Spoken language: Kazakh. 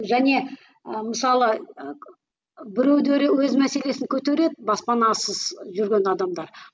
және ы мысалы ы біреулері өз мәселесін көтереді баспанасыз жүрген адамдар